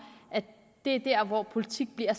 det er der hvor politik bliver